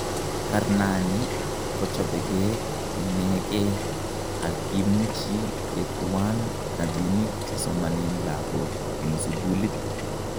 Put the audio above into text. "Karnanii kochopekee inekee ak kimuchi ketuwaan rabinik chesomanen lakoook en sukuulit"